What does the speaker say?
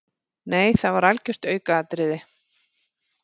Nei það var algjört aukaatriði.